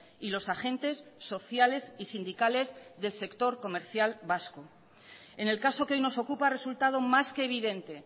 y los agentes sociales y sindicales del sector comercial vasco en el caso que hoy nos ocupa ha resultado más que evidente